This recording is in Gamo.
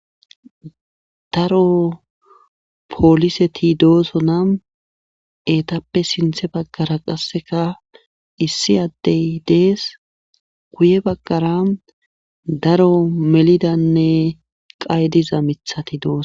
Daro pooliseti dooso na eetappe sinthe baggara qasseka issi addey dees guye baggara daro melidanne qay diza mithati dooso